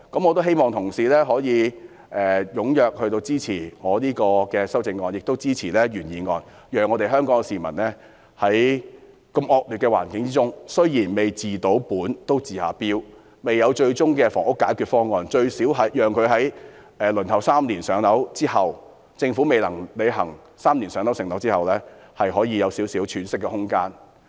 我希望同事踴躍支持我的修正案及原議案，讓香港市民在如此惡劣的環境之中——雖然未能治本都可以治標，未有最終的房屋解決方案，但最少也能在政府未能履行 "3 年上樓"承諾的期間，讓輪候的市民有少許喘息的空間。